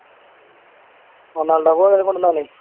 റൊണാൾഡോയ്ക്ക് പകരം കൊണ്ട് വന്നതാന്ന്